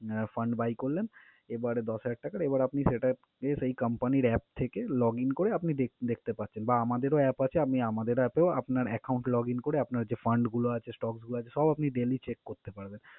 আহ fund buy করলেন এবারে দশ হাজার টাকার। এবার আপনি সেটাকে সেই company র app থেকে log in করে আপনি দেখ~ দেখতে পাচ্ছেন বা আমাদেরও app আছে, আপনি আমাদের app এও আপনার account log in করে আপনার যে fund গুলো আছে, stock গুলো আছে সব আপনি daily check করতে পারবেন।